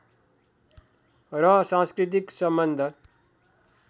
र सांस्कृतिक सम्बन्ध